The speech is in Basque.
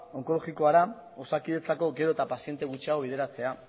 onkologikora osakidetzako gero eta paziente gutxiago bideratzea